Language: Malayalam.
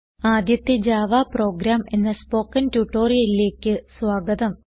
ആദ്യത്തെ ജാവ പ്രോഗ്രാം എന്ന സ്പോകെൻ ട്യൂട്ടോറിയലിലേക്ക് സ്വാഗതം